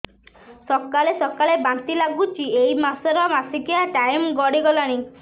ସକାଳେ ସକାଳେ ବାନ୍ତି ଲାଗୁଚି ଏଇ ମାସ ର ମାସିକିଆ ଟାଇମ ଗଡ଼ି ଗଲାଣି